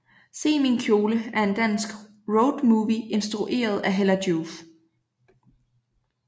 Se min kjole er en dansk roadmovie instrueret af Hella Joof